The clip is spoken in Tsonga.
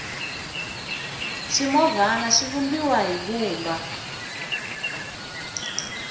swimovhana swi vumbiwa hi vumba